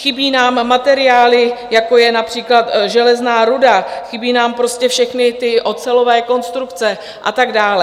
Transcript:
Chybí nám materiály, jako je například železná ruda, chybí nám prostě všechny ty ocelové konstrukce a tak dále.